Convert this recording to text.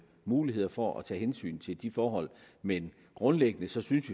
muligheder for at tage hensyn til de forhold men grundlæggende synes vi